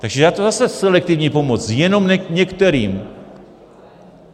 Takže je to zase selektivní pomoc jenom některým.